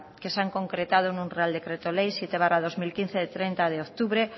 que se han concretado en una real decreto ley siete barra dos mil quince del treinta de octubre